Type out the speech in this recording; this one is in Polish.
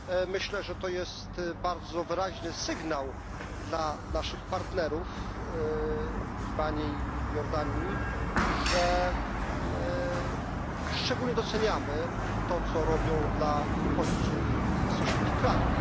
Myślę, że to jest bardzo wyraźny sygnał dla naszych partnerów w Libanie i Jordanii, że szczególnie doceniamy to, co robią dla uchodźców z sąsiednich krajów.